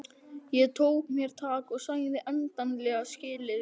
Ég tók mér tak og sagði endanlega skilið við hassið.